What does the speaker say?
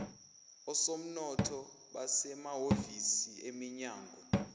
osomnotho basemahhovisi eminyango